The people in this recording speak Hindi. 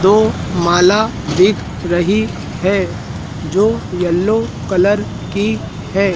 दो माला दिख रही है जो येलो कलर की हैं।